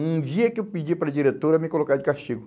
Um dia que eu pedi para a diretora me colocar de castigo.